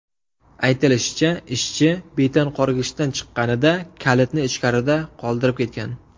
Aytilishicha, ishchi betonqorgichdan chiqqanida kalitni ichkarida qoldirib ketgan.